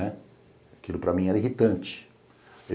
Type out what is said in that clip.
Aquilo para mim era irritante.